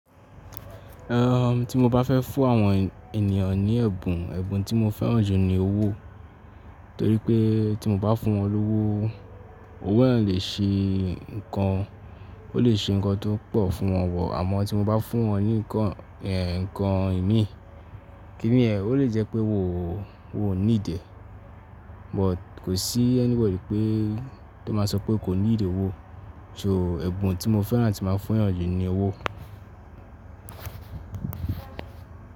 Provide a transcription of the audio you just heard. Ehn, tí mo bá fẹ́ fún àwọn ènìyàn ní ẹ̀bùn, ẹ̀bùn tí mo fẹ́ràn jù ni owó. Torí pé tí mo bá fún wọn lówó, owó náà lè ṣe nǹkan, ó lè ṣe nnkan tó pọ̀ fún wọn wọ̀. Àmọ́ tí mo bá fún wọn ní nǹkan ẹ̀ nǹkan ìmíì, kí ní yen? Ó lè jẹ́ pé wò ó need e But kò sí anybọ̀dy pé tó má sọ pé kò ní need owó. So ẹ̀bùn tí mo fẹ́ràn áti máa fún èeyàn jù ni owó.